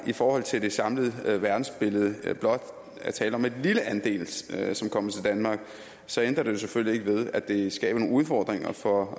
i forhold til det samlede verdensbillede blot er tale om en lille andel som kommer til danmark så ændrer det jo selvfølgelig ikke ved at det skaber nogle udfordringer for